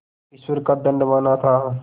ईश्वर का दंड माना था